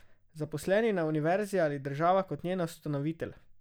Zaposleni na univerzi ali država kot njen ustanovitelj?